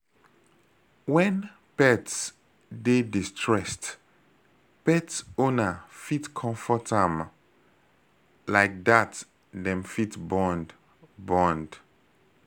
When pets dey distressed, pet owner fit comfort am, like dat dem fit bond bond